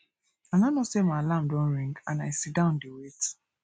i no know say my alarm don ring and i sit down dey wait